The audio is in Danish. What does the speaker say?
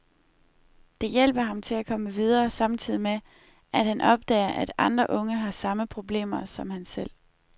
Det hjælper ham til at komme videre samtidig med, at han opdager, at andre unge har samme problemer som han selv.